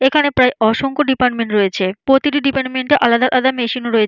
এখানে প্রায় অসংখ্য ডিপার্টমেন্ট রয়েছে। প্রতিটি ডিপার্টমেন্ট -এ আলাদা আলাদা মেশিন রয়েছে।